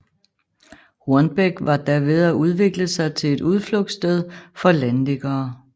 Hornbæk var da ved at udvikle sig til et udflugtssted for landliggere